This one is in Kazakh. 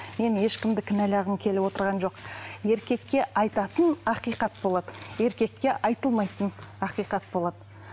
мен ешкімді кінәлағым келіп отырғаным жоқ еркекке айтатын ақиқат болады еркекке айтылмайтын ақиқат болады